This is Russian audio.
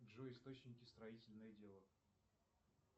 джой источники строительное дело